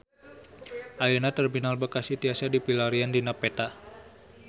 Ayeuna Terminal Bekasi tiasa dipilarian dina peta